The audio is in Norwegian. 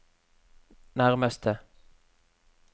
nærmeste